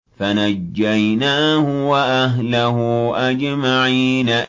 فَنَجَّيْنَاهُ وَأَهْلَهُ أَجْمَعِينَ